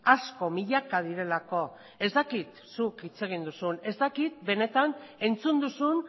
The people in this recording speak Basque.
asko milaka direlako ez dakit zuk hitz egin duzun ez dakit benetan entzun duzun